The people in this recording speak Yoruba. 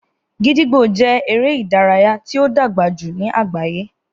Gídígbò jẹ́ eré ìdárayá tí ó dàgbà jù ní àgbáyé